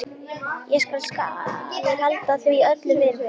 Ég skal halda því öllu fyrir mig.